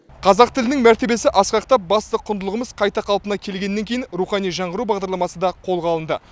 қазақ тілінің мәртебесі асқақтап басты құндылығымыз қайта қалпына келгеннен кейін рухани жаңғыру бағдарламасы да қолға алынды